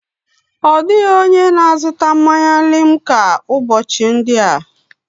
Ọ dịghị onye na-azụta mmanya limca ụbọchị ndị a.